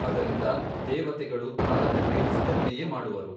ಅದರಿಂದ ದೇವತೆಗಳು ಕಾಲನು ಪ್ರೇರಿಸಿದಂತೆಯೇ ಮಾಡುವರು.